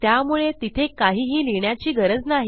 त्यामुळे तिथे काहीही लिहिण्याची गरज नाही